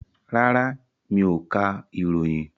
Rárá, mi ò ka ìròyìn.